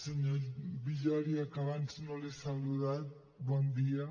senyor villòria que abans no l’he saludat bon dia